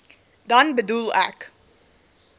dan bedoel ek